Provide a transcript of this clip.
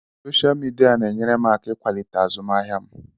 Soshal midia na-enyere m aka ịkwalite azụmaahịa m.